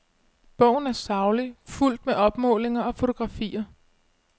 Bogen er saglig, fuldt med opmålinger og fotografier.